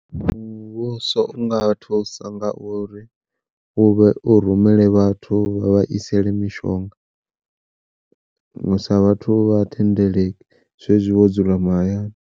Muvhuso unga thusa nga uri uvhe u rumele vhathu vha vha isele mishonga, sa vhathu vha thendeleki zwezwi vhathu vho dzula mahayani.